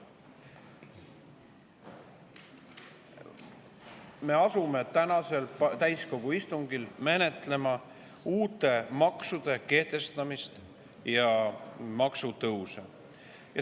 Me asume tänasel täiskogu istungil menetlema uute maksude kehtestamist ja maksutõuse.